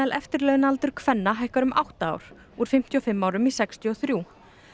eftirlaunaaldur kvenna hækkar um átta ár úr fimmtíu og fimm árum í sextíu og þrjú